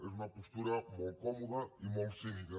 és una postura molt còmoda i molt cínica